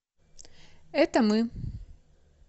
это мы